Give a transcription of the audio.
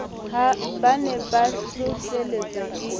ba ne ba hlohlelletswa ke